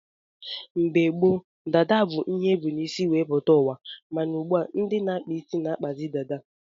Mgbe ochie dada bu ihe ebu n' isi wee pụta uwa, mana ugbua ndị na-akpa isi na-akpazi dada.